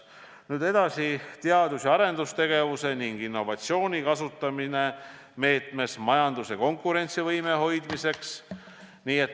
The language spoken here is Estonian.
Kava viimane eesmärk on teadus- ja arendustegevuse ning innovatsiooni kasutamine majanduse konkurentsivõime hoidmiseks.